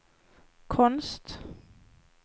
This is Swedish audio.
konst